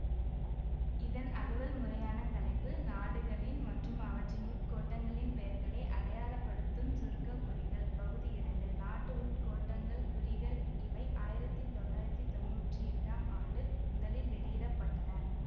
இதன் அலுவல்முறையான தலைப்பு நாடுகளின் மற்றும் அவற்றின் உட்கோட்டங்களின் பெயர்களை அடையாளப்படுத்தும் சுருக்கக் குறிகள்பகுதி இரண்டு நாட்டு உட்கோட்டங்கள் குறிகள் இவை ஆயிரத்தி தொள்ளாயிரத்தி தொன்னூற்றி எட்டாம் ஆண்டு முதலில் வெளியிட பட்டன